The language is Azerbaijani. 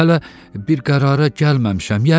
Mən hələ bir qərara gəlməmişəm.